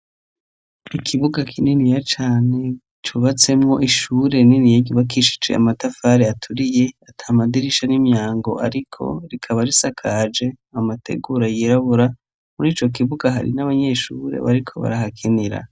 Ikibuga kininiya cane cubatsemwo ishure nini cubakishijwe amatafare aturiye atamadirisha n'imyango ariko rikaba risakaje amategura yirabura muri co kibuga hari n'abanyeshure bariko barahakinira.